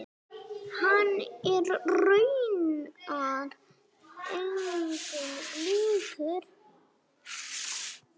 Hann er raunar engum líkur.